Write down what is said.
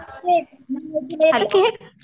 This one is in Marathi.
केक कैक